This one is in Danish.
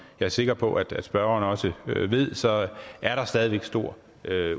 er sikker på at spørgeren også ved så er der stadig væk stor